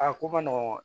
A ko man nɔgɔn